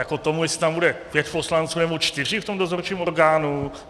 Jako tomu, jestli tam bude pět poslanců, nebo čtyři v tom dozorčím orgánu?